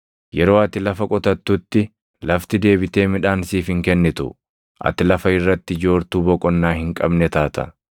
Yeroo ati lafa qotattutti lafti deebitee midhaan siif hin kennitu. Ati lafa irratti joortuu boqonnaa hin qabne taata.”